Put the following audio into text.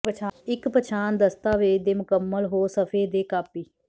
ਇੱਕ ਪਛਾਣ ਦਸਤਾਵੇਜ਼ ਦੇ ਮੁਕੰਮਲ ਹੋ ਸਫ਼ੇ ਦੇ ਕਾਪੀ